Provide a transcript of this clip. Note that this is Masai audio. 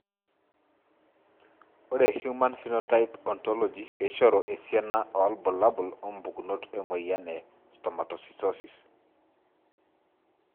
Ore Human Phenotype Ontology keishoru esiana obulabul wompukunot emoyian e Stomatocytosis I.